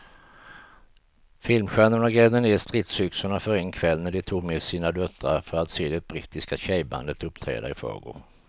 Filmstjärnorna grävde ned stridsyxorna för en kväll när de tog med sina döttrar för att se det brittiska tjejbandet uppträda i förrgår.